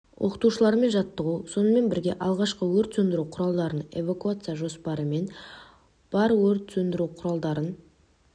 оқытушылармен жаттығу сонымен бірге алғашқы өрт сөндіру құралдарын эвакуация жоспары мен бар өрт сөндіру құбырларын